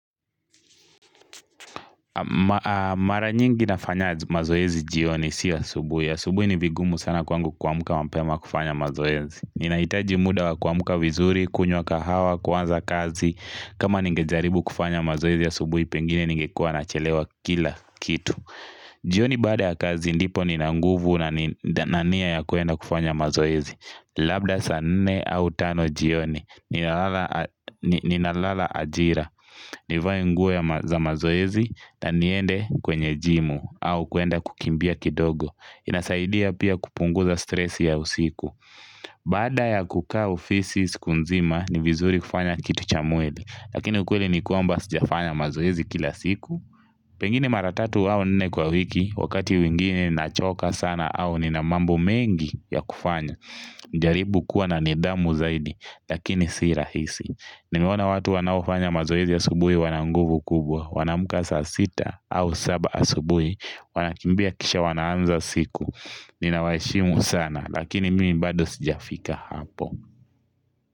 Mara nyingi nafanya mazoezi jioni sio asubuhi. Asubuhi ni vigumu sana kwangu kuamka mapema kufanya mazoezi ninahitaji muda wa kuamka vizuri, kunywa kahawa, kuanza kazi kama ningejaribu kufanya mazoezi asubuhi pengine ningekuwa nachelewa kila kitu jioni baada ya kazi ndipo nina nguvu na nia ya kuenda kufanya mazoezi labda sa nne au tano jioni ninalala ajira nivae nguo za mazoezi na niende kwenye gym au kuenda kukimbia kidogo inasaidia pia kupunguza stress ya usiku baada ya kukaa ofisi siku nzima ni vizuri kufanya kitu cha mwili lakini ukweli ni kwamba sijafanya mazoezi kila siku pengine mara tatu au nne kwa wiki, wakati mwingine nachoka sana au nina mambo mengi ya kufanya. Nijaribu kuwa na nidhamu zaidi lakini si rahisi nimeona watu wanaofanya mazoezi asubuhi wana nguvu kubwa. Wanaamka sa sita au saba asubuhi. Wanakimbia kisha wanaanza siku. Ninawaheshimu sana lakini mimi bado sijafika hapo.